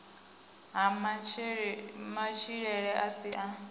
ha matshilele a si a